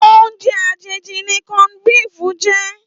Óoùnjè àjéjí ni cònd bíf jè